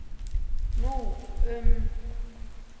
Nú um